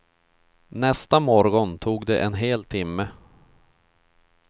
Nästa morgon tog det en hel timme.